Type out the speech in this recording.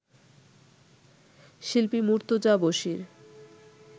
শিল্পী মুর্তজা বশীর